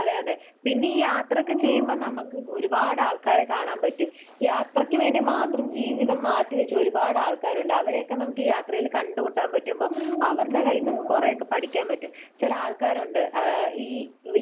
അതെ. അതെ. പിന്നെ ഈ യാത്രയൊക്കെ ചെയ്യുമ്പോൾ നമുക്ക് ഒരുപാട് ആൾക്കാരെ കാണാൻ പറ്റും. യാത്രക്ക് വേണ്ടി മാത്രം ജീവിതം മാറ്റി വെച്ച ഒരുപാട് ആൾക്കാരുണ്ട്. അവരെയൊക്കെ നമുക്ക് യാത്രയിൽ കണ്ടുമുട്ടാൻ പറ്റുമ്പോൾ അവരുടെ കയ്യിൽ നിന്നും നമുക്ക് കുറെയൊക്കെ പഠിക്കാൻ പറ്റും. ചില ആൾക്കാർ ഉണ്ട് ഏഹ് ഈ